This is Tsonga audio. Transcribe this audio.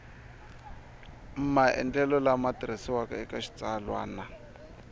maendlelo lama tirhisiwaka eka xitsalwana